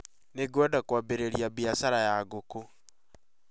Nĩngwenda kwambĩrĩria biacara ya ngũkũ